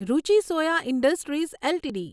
Ruchi soya industries LTD